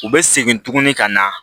U bɛ segin tuguni ka na